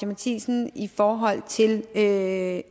matthisen i forhold til at